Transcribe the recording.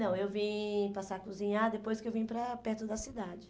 Não, eu vim passar a cozinhar depois que eu vim para perto da cidade.